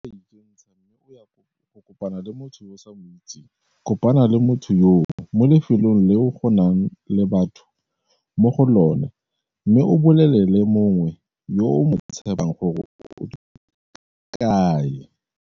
Fa e le gore o a ikentsha mme o ya go kopana le motho yo o sa mo itseng, kopana le motho yoo mo lefelong leo go nang le batho mo go lona mme o bolelele mongwe yo o mo tshepang gore o tswetse kae.